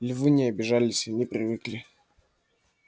львы не обижались они привыкли